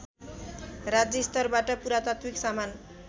राज्यस्तरबाट पुरातात्विक सामान